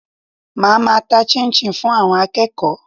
Màá ma ta 'chinchin' fún àwon akéèkó